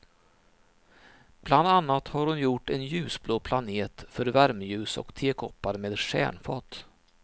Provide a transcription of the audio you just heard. Bland annat har hon gjort en ljusblå planet för värmeljus och tekoppar med stjärnfat.